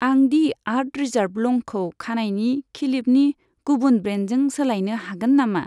आं दि आर्थ रिजार्व लंखौ खानायनि खिलिबनि गुबुन ब्रेन्डजों सोलायनो हागोन नामा?